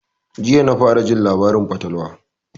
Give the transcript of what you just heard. Jiya na fara jin labarin fatalwa